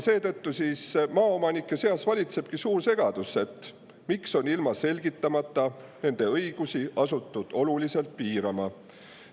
Seetõttu valitsebki maaomanike seas suur segadus, miks on ilma selgitamata nende õigusi asutud oluliselt piirama.